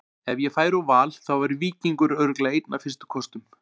Ef ég færi úr Val þá væri Víkingur örugglega einn af fyrstu kostum.